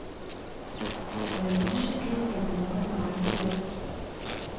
Med et museklik kan man ordne regnskabet.